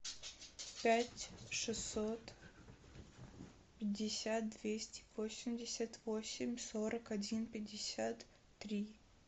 пять шестьсот пятьдесят двести восемьдесят восемь сорок один пятьдесят три